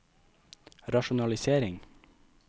rasjonalisering